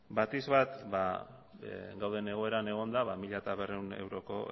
batipat ba dauden egoeran egonda ba mila berrehun euroko